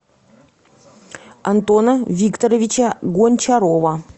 антона викторовича гончарова